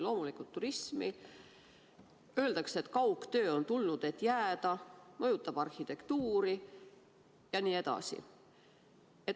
Loomulikult mõjutab see turismi, arhitektuuri, öeldakse, et kaugtöö on tulnud, et jääda, jne.